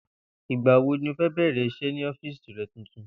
Ìgbà wo ni o óò bè̩rè̩ is̩é̩ ní ó̩fíìsì re̩ tuntun?